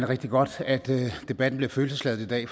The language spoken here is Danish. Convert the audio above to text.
rigtig godt at debatten bliver følelsesladet i dag